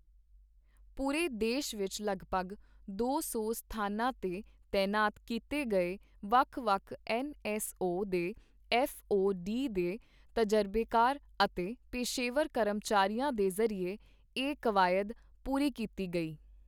ਪੂਰੇ ਦੇਸ਼ ਵਿੱਚ ਲਗਭਗ ਦੋ ਸੌ ਸਥਾਨਾਂ ਤੇ ਤੈਨਾਤ ਕੀਤੇ ਗਏ ਵੱਖ-ਵੱਖ ਐੱਨ ਐੱਸ ਓ ਦੇ ਐੱਫ਼ ਓ ਡੀ ਦੇ ਤਜ਼ਰਬੇਕਾਰ ਅਤੇ ਪੇਸ਼ੇਵਰ ਕਰਮਚਾਰੀਆਂ ਦੇ ਜ਼ਰੀਏ ਇਹ ਕਵਾਇਦ ਪੂਰੀ ਕੀਤੀ ਗਈ।